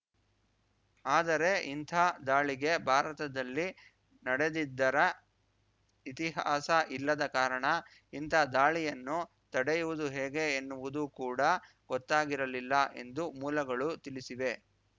ಆದರೆ ಇಂಥ ದಾಳಿಗೆ ಭಾರತದಲ್ಲಿ ನಡೆದಿದ್ದರ ಇತಿಹಾಸ ಇಲ್ಲದ ಕಾರಣ ಇಂಥ ದಾಳಿಯನ್ನು ತಡೆಯುವುದು ಹೇಗೆ ಎನ್ನುವುದು ಕೂಡಾ ಗೊತ್ತಾಗಿರಲಿಲ್ಲ ಎಂದು ಮೂಲಗಳು ತಿಳಿಸಿವೆ